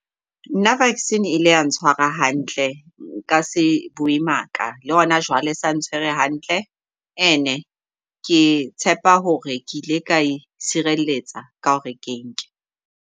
Nna vaccine e ile ya ntshwara hantle nka se bue maka le hona jwale esa ntshwere hantle. And-e ke tshepa hore ke ile ka itshireletsa ka hore ke e nke.